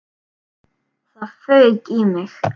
Það fauk í mig.